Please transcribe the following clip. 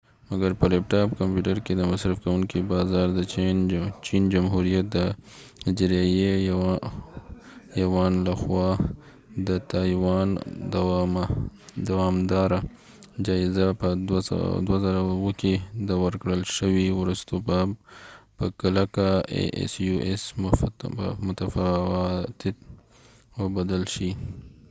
مګر په لیپ ټاپ کمپیوټر کې د مصرف کونکي بازار د چین جمهوریت د اجراییه یوان لخوا د تایوان دوامداره جایزه په 2007 کې د asus ورکړل شوي وروسته به په کلکه متفاوت او بدل شي